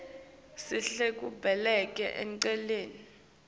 sihlela kubekela eceleni